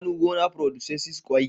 shanu gona producesses kwai